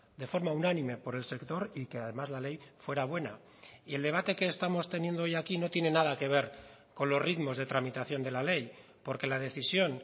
de forma unánime por el sector y que además la ley fuera buena y el debate que estamos teniendo hoy aquí no tiene nada que ver con los ritmos de tramitación de la ley porque la decisión